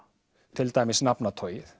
til dæmis